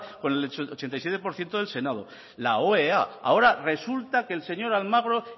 con el ochenta y siete por ciento del senado al oea ahora resulta que el señor almagro